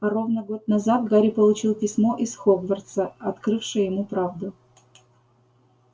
а ровно год назад гарри получил письмо из хогвартса открывшее ему правду